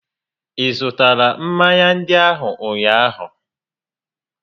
Ị zụtara mmanya ndị ahụ ụnyaahụ?